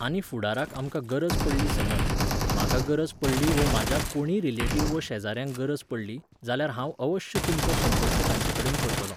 आनी फुडाराक आमकां गरज पडली समज, म्हाका गरज पडली वा म्हज्या कोणूय रिलेटिव्ह वा शेजाऱ्यांक गरज पडली, जाल्यार हांव अवश्य तुमचो संपर्क तांचेकडेन करतलो.